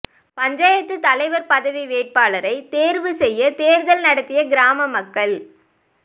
பஞ்சாயத்து தலைவர் பதவி வேட்பாளரை தேர்வு செய்ய தேர்தல் நடத்திய கிராம மக்கள்